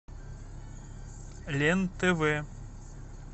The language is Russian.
лен тв